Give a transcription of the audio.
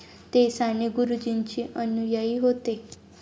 ते साने गुरुजींचे अनुयायी होते.